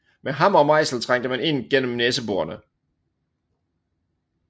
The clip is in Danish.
Med hammer og mejsel trængte man ind gennem næseborene